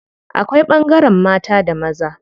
Akwai ɓangaren mata da maza.